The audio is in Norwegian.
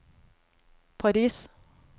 Paris